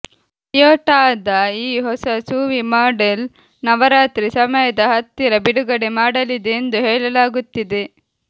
ಟೊಯೋಟಾದ ಈ ಹೊಸ SUV model Navratri ಸಮಯದ ಹತ್ತಿರ ಬಿಡುಗಡೆ ಮಾಡಲಿದೆ ಎಂದು ಹೇಳಲಾಗುತ್ತಿದೆ